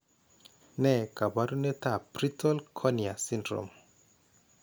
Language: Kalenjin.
Ne kaabarunetap Brittle cornea syndrome?